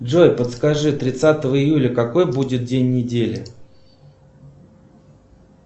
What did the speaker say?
джой подскажи тридцатого июля какой будет день недели